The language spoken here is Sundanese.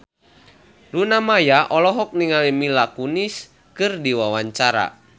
Luna Maya olohok ningali Mila Kunis keur diwawancara